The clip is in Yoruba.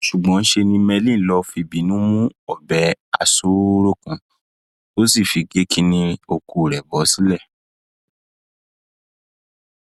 ṣùgbọn ṣe ni merlin lọọ fìbínú mú ọbẹ aṣọọrọ kan tó sì fi gé kínní ọkọ rẹ bọ sílẹ